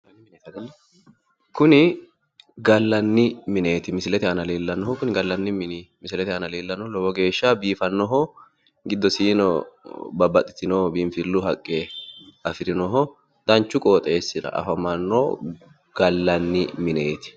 Kuni gallanni mineeti misilete aana leellannohu kuni gallanni mini misilete aana leellannohu lowo geeshsha biifannoho giddosiino babbaxxitino biinfillu haqqe afironoho danchu qooxeessira afamanno gallanni mineeti